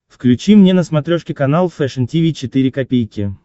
включи мне на смотрешке канал фэшн ти ви четыре ка